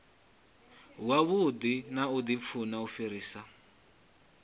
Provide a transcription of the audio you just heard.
wavhuḓi na dzimpfu u fhirisa